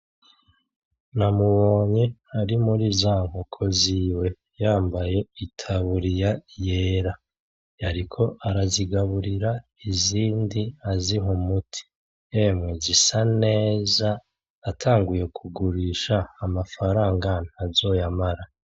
Namubonye ari muri za nkoko ziwe yambaye itaburiya yera yariko arazigaburira izindi aziha umuti yemwe zisa neza atanguye kuzigurisha amafaranga ntazoyamara.